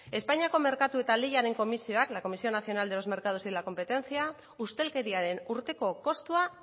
espainiako merkatu eta lehiaren komisioak la comisión nacional de los mercados y de la competencia ustelkeriaren urteko kostua